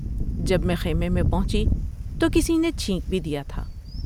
جب میں خیمے میں پہنچی تو کسی نے چھینک بھی دیا تھا ۔